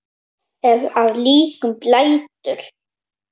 Ef að líkum lætur.